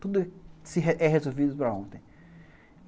Tudo é resolvido para ontem.